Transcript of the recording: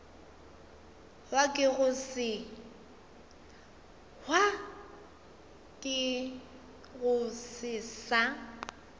hwa ke go se sa